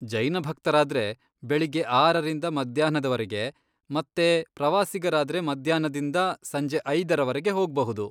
ಜೈನ ಭಕ್ತರಾದ್ರೆ ಬೆಳಿಗ್ಗೆ ಆರರಿಂದ ಮಧ್ಯಾಹ್ನದ್ವರೆಗೆ ಮತ್ತೆ ಪ್ರವಾಸಿಗರಾದ್ರೆ ಮಧ್ಯಾಹ್ನದಿಂದ ಸಂಜೆ ಐದರವರೆಗೆ ಹೋಗ್ಬಹುದು.